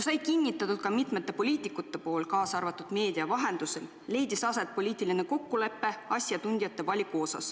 Ent nagu mitmed poliitikud on kinnitanud, ka meedia vahendusel, tehti asjatundjate valiku osas poliitiline kokkulepe.